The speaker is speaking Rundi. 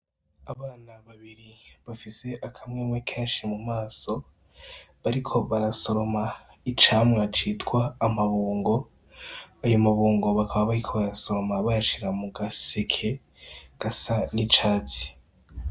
Abana babiri bafise akamwemwe kenshi mu maso bariko barasoroma icamwa citwa amabungo, ayo mabungo bakaba bariko bayasoroma bayashira mu gaseke gasa n'icatsi.